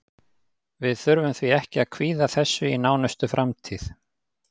Við þurfum því ekki að kvíða þessu í nánustu framtíð.